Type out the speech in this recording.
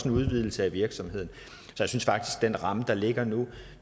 en udvidelse af virksomheden så den ramme der ligger nu